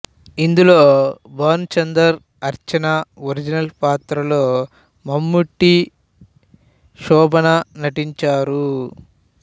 ఇందులో భాను చందర్ అర్చన ఒరిజినల్ పాత్రల్లో మమ్ముట్టి శోబనా నటించారు